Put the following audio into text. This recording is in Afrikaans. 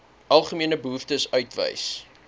algemene behoeftes uitwys